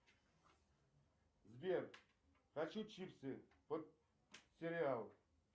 сбер хочу чипсы под сериал